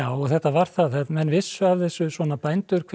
þetta var það menn vissu af þessu svona bændur hver